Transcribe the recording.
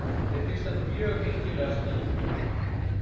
Mér finnst þetta mjög einkennilegar skýringar